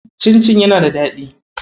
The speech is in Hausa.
Cincin yana da daɗi.